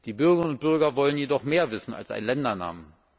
Die Bürgerinnen und Bürger wollen jedoch mehr wissen als einen Ländernamen.